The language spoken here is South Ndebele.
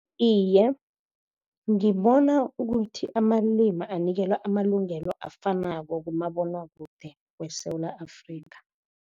Iye, ngibona ukuthi amalimi anikelwa amalungelo afanako kumabonwakude weSewula Afrikha.